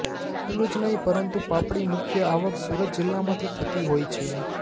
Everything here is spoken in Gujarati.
એટલુ જ નહી પરંતુ પાપડી મુખ્ય આવક સુરત જિલ્લામાંથી થતી હોય છે